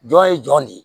Jɔn ye jɔn de ye